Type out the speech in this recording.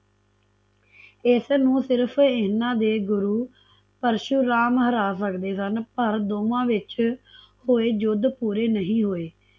ਇਸਨੂੰ ਸਿਰਫ ਇਹਨਾਂ ਦੇ ਗੁਰੂ ਪਰਸ਼ੂਰਾਮ ਹਰਾ ਸਕਦੇ ਸਨ ਪਰ ਦੋਵਾਂ ਵਿੱਚ ਹੋਏ ਯੁੱਧ ਪੂਰੇ ਨਹੀਂ ਹੋਏ